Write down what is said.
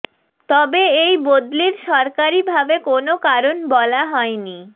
তবে এই বদলির সরকারি ভাবে কোনও কারণ বলা হয়নি